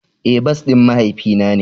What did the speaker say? Eh, bas din mahaifi na ne.